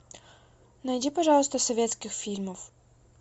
найди пожалуйста советских фильмов